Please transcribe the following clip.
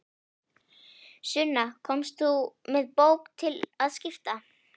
Sunna, komst þú með bók til að skipta?